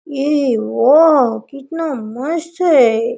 येह वाओ कितना मस्त है।